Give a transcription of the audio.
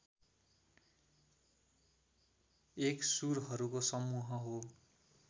एक सुरहरूको समूह हो